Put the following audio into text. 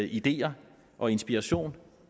ideer og inspiration